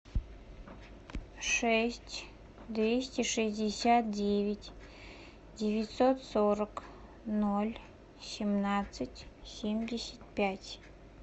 шесть двести шестьдесят девять девятьсот сорок ноль семнадцать семьдесят пять